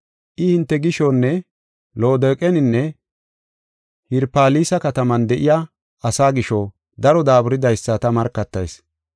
I hinte gishonne Loodoqeninne Hirapolisa kataman de7iya asaa gisho daro daaburidaysa ta markatayis.